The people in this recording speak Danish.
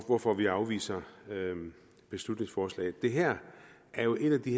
hvorfor vi afviser beslutningsforslaget det her er jo et af de